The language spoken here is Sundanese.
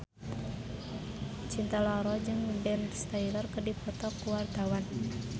Cinta Laura jeung Ben Stiller keur dipoto ku wartawan